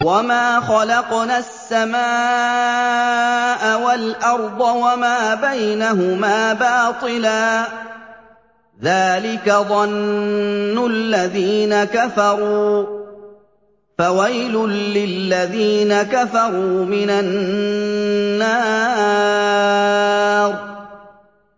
وَمَا خَلَقْنَا السَّمَاءَ وَالْأَرْضَ وَمَا بَيْنَهُمَا بَاطِلًا ۚ ذَٰلِكَ ظَنُّ الَّذِينَ كَفَرُوا ۚ فَوَيْلٌ لِّلَّذِينَ كَفَرُوا مِنَ النَّارِ